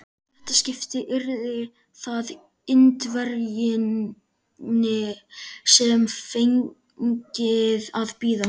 Í þetta skipti yrði það Indverjinn, sem fengi að bíða.